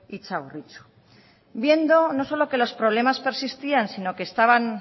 y txagorritxu viendo no solo que los problemas persistían sino que